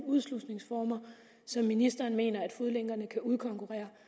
udslusningsformer som ministeren mener at fodlænkerne kan udkonkurrere